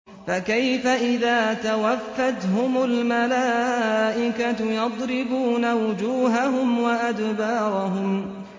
فَكَيْفَ إِذَا تَوَفَّتْهُمُ الْمَلَائِكَةُ يَضْرِبُونَ وُجُوهَهُمْ وَأَدْبَارَهُمْ